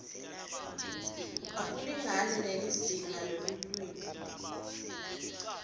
akulingani nelizingaa lelulwimi